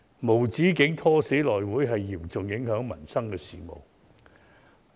無止境"拖死"內務委員會將嚴重影響民生事務。